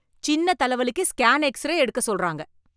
சின்ன தலைவலிக்கு scan X ray எடுக்க சொல்றாங்க.